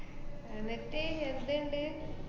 എന്നട്ട് എന്ത് ~ണ്ട്?